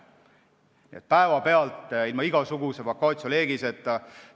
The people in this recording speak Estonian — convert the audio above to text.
Nii et see toimus päevapealt, ilma igasuguse vacatio legis'eta.